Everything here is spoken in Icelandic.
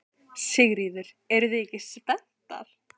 Sigríður: Eruð þið ekki spenntar?